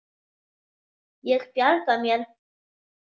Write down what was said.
Ég bjarga mér.